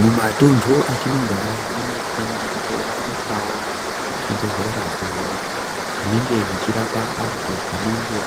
Mumatuntu atinogara munofanira kuwanikwawo zvibhedhlera izvo zvinenge zvichirapa vantu vanenge